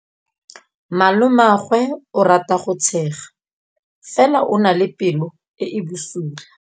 Malomagwe o rata go tshega fela o na le pelo e e bosula.